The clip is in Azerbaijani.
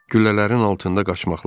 Güllələrin altında qaçmaqları.